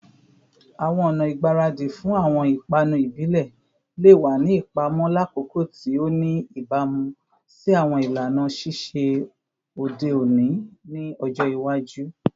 Awọn ọna igbaradi fun awọn ipanu ibile le wa ni ipamọ lakoko ti o ni ibamu si awọn ilana sise ode oni ni ọjọ iwaju